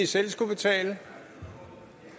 selv skulle betale